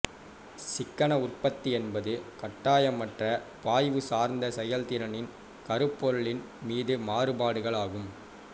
சிக்கன உற்பத்தி என்பது கட்டாயமற்ற பாய்வு சார்ந்த செயல்திறனின் கருப்பொருளின் மீது மாறுபாடுகள் ஆகும்